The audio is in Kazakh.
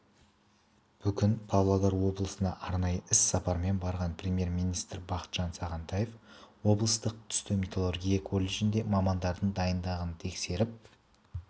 бүгін павлодар облысына арнайы іс-сапармен барған премьер-министрі бақытжан сағынтаев облыстық түсті металлургия колледжінде мамандардың дайындығын тексеріп